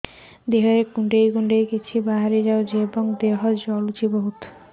ଦେହରେ କୁଣ୍ଡେଇ କୁଣ୍ଡେଇ କିଛି ବାହାରି ଯାଉଛି ଏବଂ ଦେହ ଜଳୁଛି